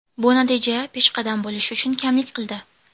Bu natija peshqadam bo‘lish uchun kamlik qildi.